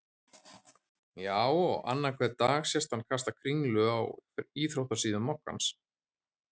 Já og annan hvern dag sést hann kasta kringlu á íþróttasíðum moggans.